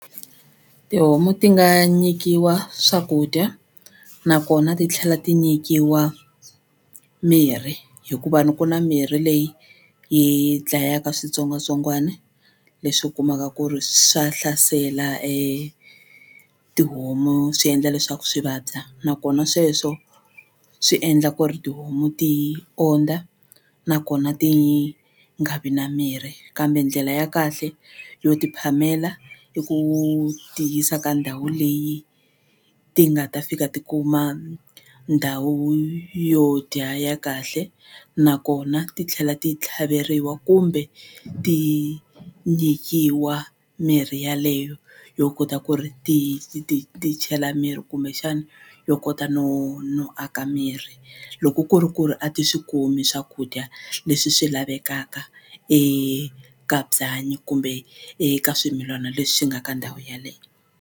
Tihomu ti nga nyikiwa swakudya nakona titlhela ti nyikiwa mirhi hikuva ni ku na mirhi leyi yi dlayaka switsongwatsongwana leswi u kumaka ku ri swa hlasela tihomu swi endla leswaku swi vabya nakona sweswo swi endla ku ri tihomu ti ondza nakona ti nga vi na mirhi kambe ndlela ya kahle yo ti phamela i ku ti yisa ka ndhawu leyi ti nga ta fika ti kuma ndhawu yo dya ya kahle nakona ti tlhela ti tlhaveriwa kumbe ti nyikiwa mirhi yaleyo yo kota ku ri ti ti ti ti chela miri kumbexani yo kota no no aka miri loko ku ri ku ri a ti swi kumi swakudya leswi swi lavekaka eka byanyi kumbe eka swimilana leswi swi nga ka ndhawu yeleyo.